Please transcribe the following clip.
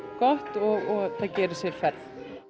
gott og það geri sér ferð